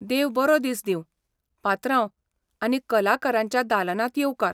देव बरो दीस दिवं, पात्रांव, आनी कलाकारांच्या दालनांत येवकार!